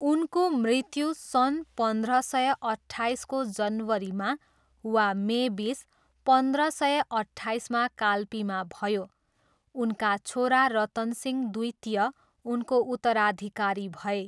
उनको मृत्यु सन् पन्ध्र सय अट्ठाइसको जनवरीमा वा मे बिस, पन्ध्र सय अट्ठाइसमा काल्पीमा भयो। उनका छोरा रतन सिंह द्वितीय उनको उत्तराधिकारी भए।